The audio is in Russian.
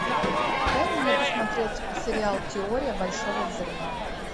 дай мне посмотреть сериал теория большого взрыва